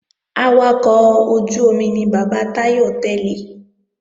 Awakọ̀ ojú-omi ni bàbá Táyọ̀ tẹ́lẹ̀